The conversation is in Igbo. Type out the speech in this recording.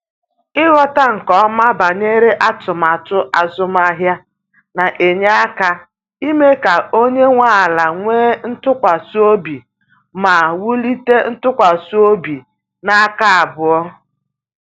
Ighọta nke ọma banyere atụmatụ azụmahịa na-enye aka ime ka onye nwe ala nwee ntụkwasị obi ma wulite ntụkwasị obi n’aka abụọ.